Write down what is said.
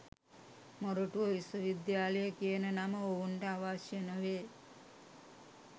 මොරටුව විශ්වවිද්‍යාලය කියන නම ඔවුන්ට අවශ්‍ය නොවේ.